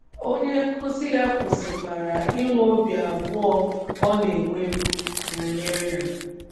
Onye nkụzi ya kwụsịkwara inwe obi abụọ ọ na - enwebụ banyere Ha.